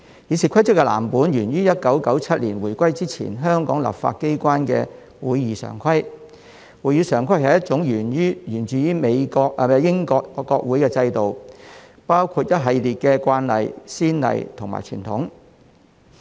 《議事規則》的藍本源於1997年回歸前香港立法機關的《會議常規》。《會議常規》是一套源自英國國會的制度，包括一系列的慣例、先例及傳統。